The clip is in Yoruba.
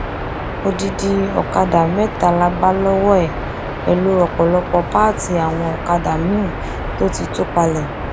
odidi ọkadà mẹta la bá lọwọ ẹ pẹlú ọpọlọpọ pààtì àwọn ọkadà miín tó ti tú palẹ